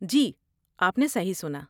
جی، آپ نے صحیح سنا۔